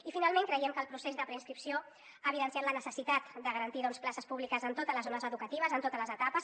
i finalment creiem que el procés de preinscripció ha evidenciat la necessitat de garantir doncs places públiques en totes les zones educatives en totes les etapes